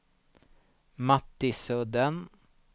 Mattisudden